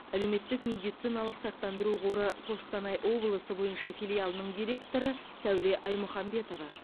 әлеуметтік медициналық сақтандыру қоры қостанай облысы бойынша филиалының директоры сәуле аймұхамбетова